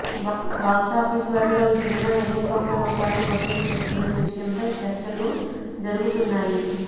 box office బరిలో ఈ cinema ఎన్ని కోట్ల రూపాయలు వసూలు చేస్తుందని విషయంపై చర్చలు జరుగుతున్నాయి